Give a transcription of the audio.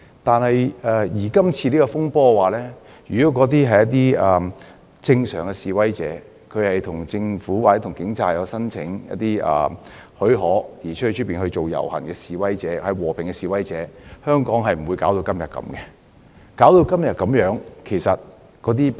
但是，在這次風波中的示威如果是正常示威，即有向政府或警務處申請許可後再舉辦遊行的示威者、和平的示威者，香港便不會搞成如此田地，也不會造成今天的局面。